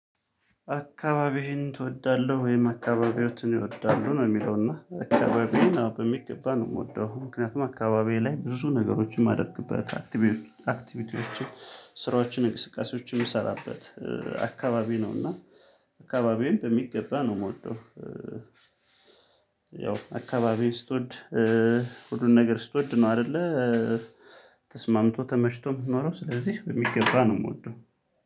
አካባቢህን ትወዳለህ ወይም አካባቢዎችን እወዳለሁ ነው የሚለው እና አካባቢዬን አሁን በሚገባ ነው የምወደው ምክንያቱም አካባቢዬ ላይ ብዙ ነገሮችን ማድረግበት አክቲቪቲዎችን ስራዎችን እንቅስቃሴዎችን የምሰራበት አካባቢ ነውና አካባቢውን በሚገባ ነው የምወደው። ያው አካባቢ ስትወድ ሁሉን ነገር ስትወድ ነው አይደለ። ተስማምቶ ተመሽቶ የምትኖረው ስለዚህ በሚገባ ነው የምወደው።